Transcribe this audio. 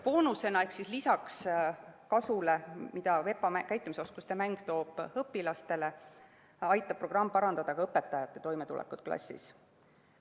Boonusena ehk lisaks kasule, mida VEPA käitumisoskuste mäng toob õpilastele, aitab programm parandada ka õpetajate toimetulekut klassis.